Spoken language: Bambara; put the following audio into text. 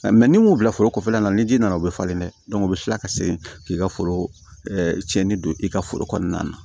ni m'u bila foro kɔnɔla la ni ji nana o bɛ falen dɛ u bɛ tila ka segin k'i ka foro cɛnni don i ka foro kɔnɔna na